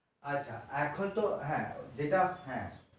আচ্ছা এখন তো হ্যাঁ যেটা হ্যাঁ